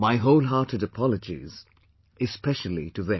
My wholehearted apologies, especially to them